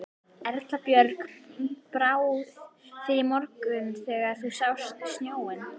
Erla Björg: Brá þér í morgun þegar þú sást snjóinn?